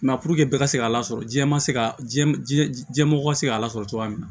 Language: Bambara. puruke bɛɛ ka se k'a lasɔrɔ jiɲɛ ma se ka diɲɛ diɲɛ mɔgɔ ka se k'a lasɔrɔ cogoya min na